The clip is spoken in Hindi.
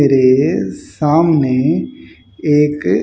मेरे सामने एक --